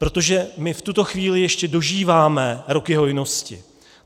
Protože my v tuto chvíli ještě dožíváme roky hojnosti.